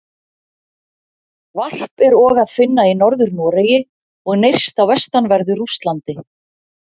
Varp er og að finna í Norður-Noregi og nyrst á vestanverðu Rússlandi.